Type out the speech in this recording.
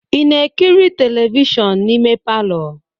Ị na-ekiri telivishọn n'ime palọ?